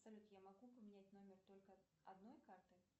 салют я могу поменять номер только одной карты